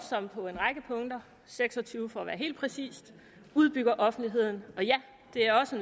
som på en række punkter seks og tyve for at være helt præcis udbygger offentligheden og ja det er også